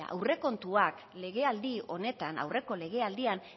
aurrekontuak legealdi honetan aurreko legealdian